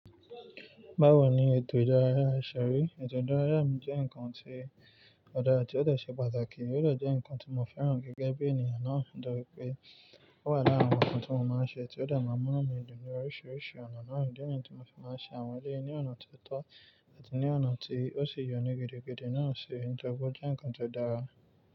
Báwo ni ètò ìdárayá ṣe rí? Ètò ìdárayá jẹ́ nǹkan tí ó dára ti ó ṣe pàtàkì. Ó jẹ́ nǹkan tí mo fẹ́ràn gẹ́gẹ́ bí ènìyàn náà. Nítorí pé ó wà lára àwọn nǹkan tí mo máa ń ṣe tí ó dà máa ń mú mi dùn ní oríṣiríṣi ọ̀nà náà. Ní ìgbà tí mo fi máa ń ṣe àwọn eré ní ọ̀nà tó tọ́ àti ní ọ̀nà tí ó sì yọni gidi náà ṣe, ìtọ́jú jẹ́ nǹkan tó dára.